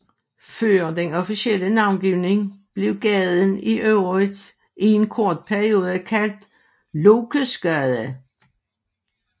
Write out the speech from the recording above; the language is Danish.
Før den officielle navngivning blev gaden i øvrigt i en kort periode kaldt Lokesgade